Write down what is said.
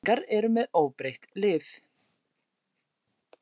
Keflvíkingar eru með óbreytt lið.